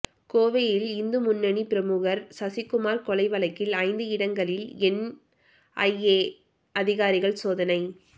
கோவையில் இந்து முன்னணி பிரமுகர் சசிகுமார் கொலை வழக்கில் ஐந்து இடங்களில் என் ஐ ஏ அதிகாரிகள் சோதனை